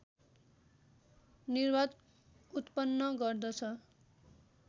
निर्वात उत्पन्न गर्दछ